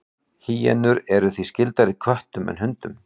Hýenur eru því skyldari köttum heldur en hundum.